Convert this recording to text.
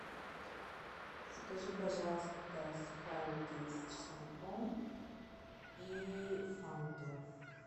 закажи пожалуйста сухарики с чесноком и фанту